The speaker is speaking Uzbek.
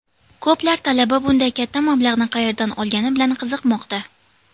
Ko‘plar talaba bunday katta mablag‘ni qayerdan olgani bilan qiziqmoqda.